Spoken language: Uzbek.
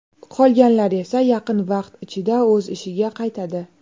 Qolganlar esa yaqin vaqt ichida o‘z ishiga qaytadi.